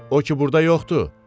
o ki burda yoxdur?